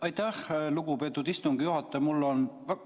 Aitäh, lugupeetud istungi juhataja!